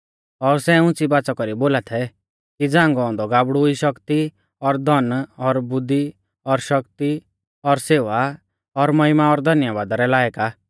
और सै उंच़ी बाच़ा कौरी बोला थै कि झ़ांगौ औन्दौ गाबड़ु ई शक्ति और धन और बुद्धी और शक्ति और सेवा और महिमा और धन्यबादा रै लायक आ